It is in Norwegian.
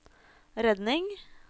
redning